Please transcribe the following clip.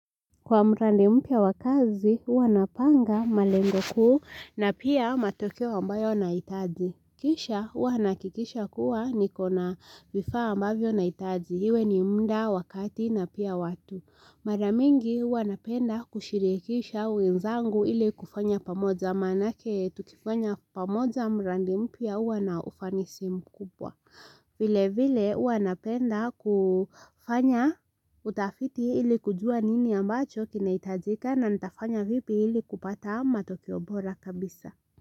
Kwa mradi mpya wa kazi, huwa napanga malengo kuu na pia matokeo ambayo nahitaji. Kisha, hua nahakikisha kuwa nikona vifaa ambavyo nahitaji. Iwe ni mda wakati na pia watu. Maramingi, hua napenda kushirikisha wenzangu ili kufanya pamoja. Manake, tukifanya pamoja mradi mpya hua na ufanisi mkubwa. Vile vile hua napenda kufanya utafiti ili kujua nini ambacho kinahitajika na nitafanya vipi ili kupata matokeo bora kabisa.